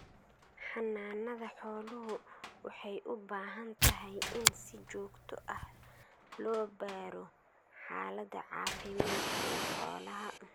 Xanaanada xooluhu waxay u baahantahay in si joogto ah loo baadho xaalada caafimaad ee xoolaha.